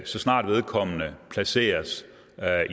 så snart vedkommende placeres